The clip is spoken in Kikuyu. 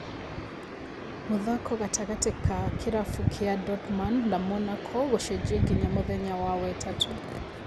Mũthako gatagatĩ ga kĩrabu kĩa Dortmund na Monaco gũcenjio nginya mũthenya wa wetatũ